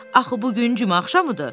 Axı bu gün cümə axşamıdır?